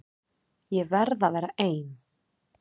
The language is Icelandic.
Ég verð að vera ein.